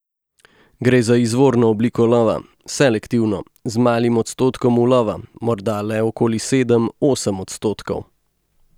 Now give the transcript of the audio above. Gre za izvorno obliko lova, selektivno, z malim odstotkom ulova, morda le okoli sedem, osem odstotkov.